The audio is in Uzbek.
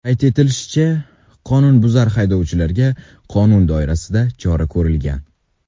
Qayd etilishicha, qoidabuzar haydovchiga qonun doirasida chora ko‘rilgan.